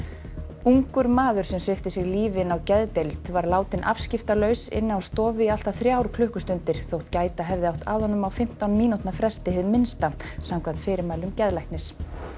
ungur maður sem svipti sig lífi inni á geðdeild var látinn afskiptalaus inni á stofu í allt að þrjár klukkustundir þótt gæta hefði átt að honum á fimmtán mínútna fresti hið minnsta samkvæmt fyrirmælum geðlæknis